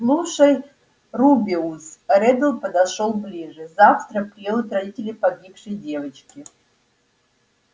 слушай рубеус реддл подошёл ближе завтра приедут родители погибшей девочки